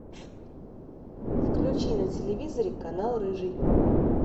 включи на телевизоре канал рыжий